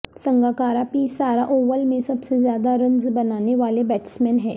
Sangakkara P Sara Oval میں سب سے زیادہ رنز بنانے والے بیٹسمین ہیں